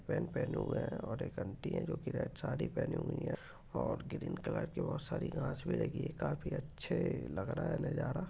Pant पहने हुई है और आंटी हई जो रेड साडी पहनी हुई है और ग्रीन कलर की बहुत सारी घास लगी है काफी अच्छे लग रहे है नजारा।